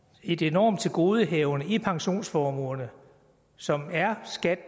et enormt tilgodehavende i pensionsformuerne som er skat